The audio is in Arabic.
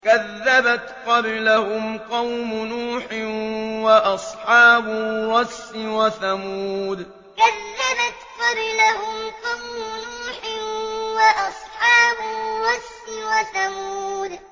كَذَّبَتْ قَبْلَهُمْ قَوْمُ نُوحٍ وَأَصْحَابُ الرَّسِّ وَثَمُودُ كَذَّبَتْ قَبْلَهُمْ قَوْمُ نُوحٍ وَأَصْحَابُ الرَّسِّ وَثَمُودُ